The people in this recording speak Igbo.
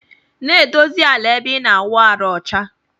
Na edosi ala ebe ina awụ arụ ọcha.